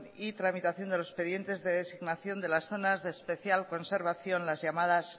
y tramitación de los expedientes de designación de las zonas de especial conservación las llamadas